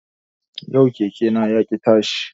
Yau keke na yaƙi tashi